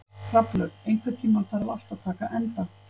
Hrafnlaug, einhvern tímann þarf allt að taka enda.